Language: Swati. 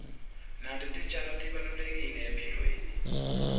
nato titjalo tibalulekile ekuphileni